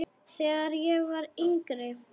Þegar ég var yngri.